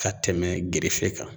Ka tɛmɛ gerefe kan